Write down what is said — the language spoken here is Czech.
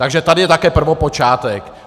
Takže tady je také prvopočátek.